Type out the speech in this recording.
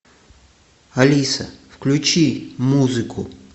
алиса включи музыку